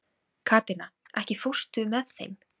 Katrína, ekki fórstu með þeim?